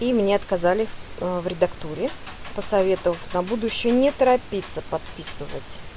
и мне отказали в редактуре посоветовав на будущее не торопиться подписывать